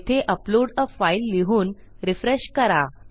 येथे अपलोड आ fileलिहून रिफ्रेश करा